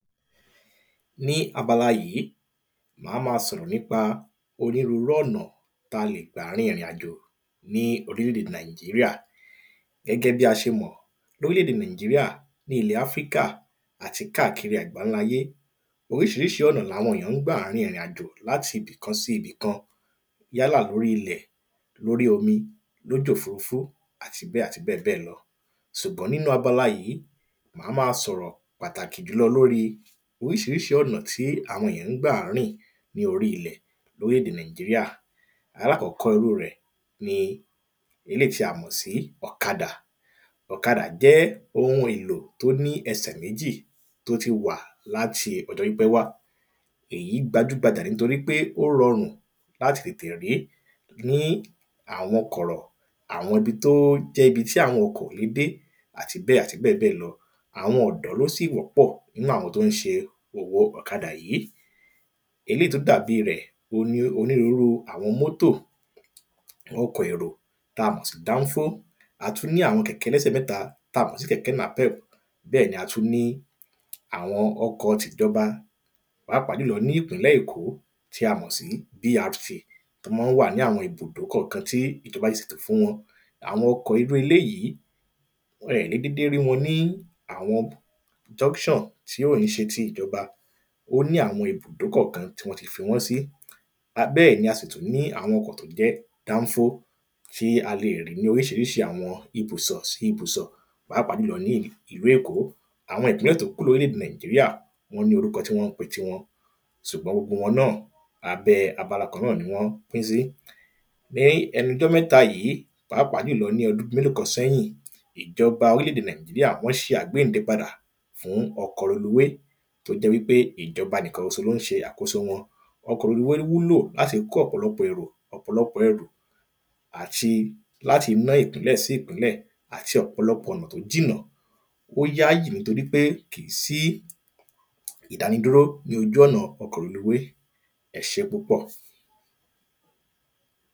Ní abala yìí a má sọ̀rọ̀ nípa onírúrú ọ̀nà tá lè gbà rin ìrìn àjò ní orílè èdè nàíjíríà. Gẹ́gẹ́ bí a ṣe mọ̀ orílè èdè nàíjíríà ní ilẹ̀ áfríkà àti kákiri àgbáńká ayé Oríṣiríṣi ọ̀nà làwọn èyàn ń gbà rin ìrìn àjò láti ibìkan sí ibìkan yálà lórí ilẹ̀ lórí omi tàbí lójú òfurufú àti bẹ́ẹ̀ àti bẹ́ẹ̀ bẹ́ẹ̀ lọ. Ṣùgbọ́n nínú abala yìí má má sọ̀rọ̀ pàtàkì jùlọ lórí oríṣiríṣi ọ̀nà tí àwọn èyàn ń gbà rìn ní orí ilẹ̀ lórílè èdè nàíjíríà. Alákọ́kọ́ irú rẹ̀ ni eléèyí ti a mọ̀ sí ọ̀kadà ọ̀kadà jẹ́ ohun èlò tó ní ẹsẹ̀ méjì tó ti wà láti ọjọ́ pípẹ́ wá. Èyí gbajú gbajà nítorípé ó rọrùn láti tètè rí àwọn kọ̀rọ̀ àwọn ibi tó jẹ́ ibi tí àwọn ọkọ̀ ò le tète dé àti bẹ́ẹ̀ àti bẹ́ẹ̀ bẹ́ẹ̀ lọ. Àwọn ọ̀dọ́ ló sì wọ́pọ̀ nínú àwọn tó ń ṣe òwò ọ̀kadà yìí eléèyí tó dàbí rẹ̀ òhun ni onírúrú àwọn mọ́tò ọkọ̀ èrò tá mọ̀ sí dánfó. A tún ní àwọn kẹ̀kẹ́ ẹlẹ́sẹ̀ mẹ́ta ta mọ̀ sí kẹ̀kẹ́ nàpẹp. Bẹ́ẹ̀ ni a tún niàwọn ọkọ̀ tìjọba pàápàá jùlọ nípínlẹ̀ èkó tí a mọ̀ sí brt tó má ń wà ní àwọn ibùdó kọ̀kan tí ìjọba ti ṣètò fún wọn. Àwọn ọkọ̀ irú eléèyí ẹ le dédé rí wọn ní àwọn junction tí kìí ṣe tìjọba ó ní àwọn ibùdó kọ̀kan tán ti fi wọ́n sí bẹ́ẹ̀ ni a sì tún ní àwọn ọkọ̀ tó jẹ́ dánfó tí a le rí ní oríṣiríṣi àwọn ibùsọ̀ sí ibùsọ̀ pàápàá jùlọ ní ìlú èkó Àwọn ìmíràn tó kù ní orílè èdè nàíjíríà wọ́n ní orúkọ tán ń pe tiwọn ṣùgbọ́n gbogbo wọn náà abẹ́ abala kan ni wọ́n pín sí ní ẹnujọ́ mẹ́ta yìí pàápàá jùlọ ní ọdún mélòó kan séyìn ìjọba orílè èdè nàíjíríà wọ́n ṣe àgbénde padà fún ọkọ̀ reluwé tó jẹ́ wípé ìjọba nìkan ṣoṣo ló ń ṣe àkóso wọn. Ọkọ̀ reluwé wúlò láti kó ọ̀pọ̀lọpọ̀ ẹrù ọ̀pọ̀lọpọ̀ ẹrù àti láti ná ìpínlẹ̀ sí ìpínlẹ̀ àti ọ̀pọ̀lọpọ̀ ọ̀nà tó jìnà bóyá yìí torípé kìí sí ìdáni dúró lójú ọ̀nà ọkọ̀ reluwé ẹṣé púpọ̀.